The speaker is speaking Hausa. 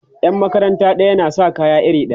Yan makaranta ɗaya na Saka kaya iri ɗaya